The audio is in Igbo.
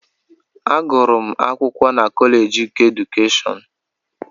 Agụrụ m akwụkwọ na Kọleeji keedukeshọn.